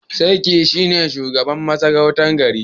Sarki shine shugaban masarautar gari